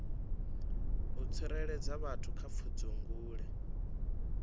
u tsireledza vhathu kha pfudzungule